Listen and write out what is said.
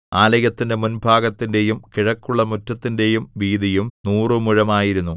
ആലയത്തിന്റെ മുൻഭാഗത്തിന്റെയും കിഴക്കുള്ള മുറ്റത്തിന്റെയും വീതിയും നൂറുമുഴമായിരുന്നു